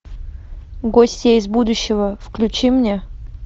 гостья из будущего включи мне